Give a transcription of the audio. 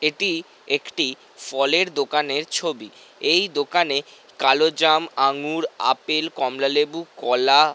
এটি একটি ফলের দোকানের ছবি। এই দোকানে কালোজাম আঙ্গুর আপেল কমলালেবু কলা --